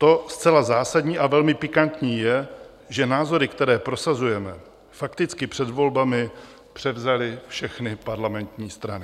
To zcela zásadní a velmi pikantní je, že názory, které prosazujeme, fakticky před volbami převzaly všechny parlamentní strany.